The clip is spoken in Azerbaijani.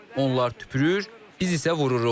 Onlar tüpürür, biz isə vururuq.